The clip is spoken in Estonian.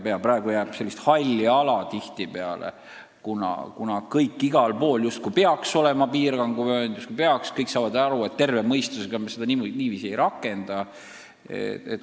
Praegu on tihtipeale tegu sellise halli alaga: igal pool justkui peaks olema piiranguvöönd, aga kõik saavad aru, et terve mõistus ei lase seda korda niiviisi rakendada.